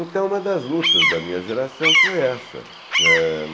Então, uma das lutas da minha geração foi essa. Eh